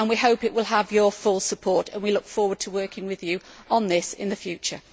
We hope it will have your full support and we look forward to working with you on this in the future.